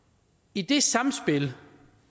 i det sammenspil